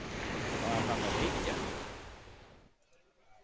Var hann að reykja?